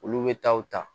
Olu bɛ taa u ta